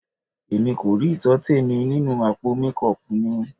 Èmi kò rí ìtọ́tẹ̀ mi nínú àpò mékọọpù mi.